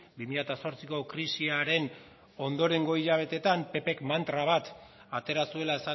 bi mila zortziko krisiaren ondorengo hilabeteetan ppk mantra bat atera zuela